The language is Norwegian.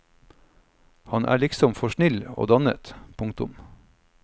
Han er liksom for snill og dannet. punktum